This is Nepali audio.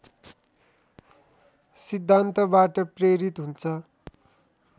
सिद्धान्तबाट प्रेरित हुन्छ